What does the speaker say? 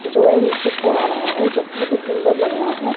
जो है नीचे को आ रहा है जो बहोत ही सुंदर लग रहा है।